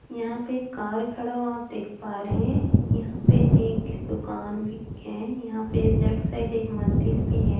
यहाँ पे एक कार खड़ा हुआ आप देख पा रहे है यहाँ पे एक दुकान भी है यहाँ पे एक लेफ्ट साइड एक मंदिर भी है।